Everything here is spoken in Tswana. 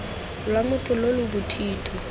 lwa motho lo lo bothito